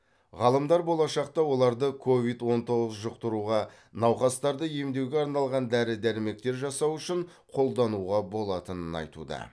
ғалымдар болашақта оларды ковид он тоғыз жұқтыруға науқастарды емдеуге арналған дәрі дәрмектер жасау үшін қолдануға болатынын айтуда